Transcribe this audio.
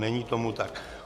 Není tomu tak.